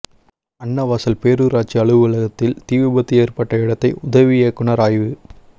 அன்னவாசல் பேரூராட்சி அலுவலகத்தில் தீவிபத்து ஏற்பட்ட இடத்தை உதவி இயக்குனர் ஆய்வு